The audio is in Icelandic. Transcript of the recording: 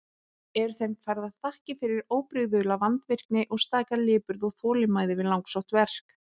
Eru þeim færðar þakkir fyrir óbrigðula vandvirkni og staka lipurð og þolinmæði við langsótt verk.